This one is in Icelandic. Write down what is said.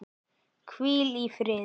Ég sakna hennar Diddu.